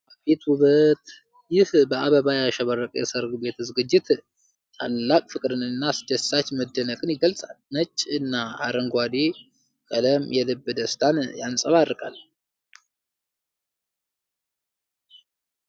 አቤት ውበት! ይህ በአበባ ያሸበረቀ የሠርግ ዝግጅት ታላቅ ፍቅርን እና አስደሳች መደነቅን ይገልጻል። ነጭ እና አረንጓዴው ቀለም የልብ ደስታን ያንጸባርቃል።